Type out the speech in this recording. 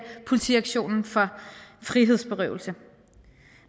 politiaktionen for frihedsberøvelse